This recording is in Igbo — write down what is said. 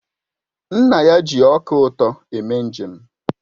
Nna ya ji ọka ụtọ eme njem